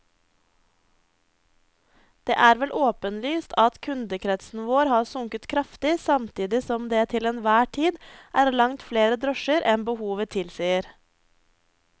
Det er vel åpenlyst at kundekretsen vår har sunket kraftig samtidig som det til enhver tid er langt flere drosjer enn behovet tilsier.